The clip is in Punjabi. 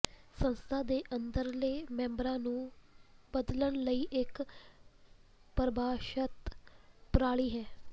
ਸੰਸਥਾ ਦੇ ਅੰਦਰਲੇ ਮੈਂਬਰਾਂ ਨੂੰ ਬਦਲਣ ਲਈ ਇੱਕ ਪਰਿਭਾਸ਼ਤ ਪ੍ਰਣਾਲੀ ਹੈ